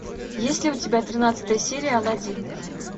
есть ли у тебя тринадцатая серия алладин